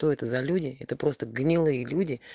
то это за люди это просто гнилые люди